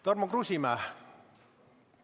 Tarmo Kruusimäe!